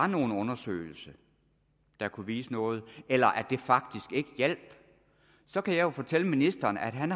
nogen undersøgelse der kan vise noget eller at det faktisk ikke hjælper så kan jeg jo fortælle ministeren at han